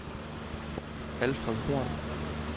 Alfred Horn